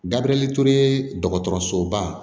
Gabiriyɛri ture dɔgɔtɔrɔsoba